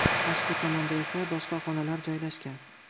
Tashqi tomonda esa boshqa xonalar joylashgan.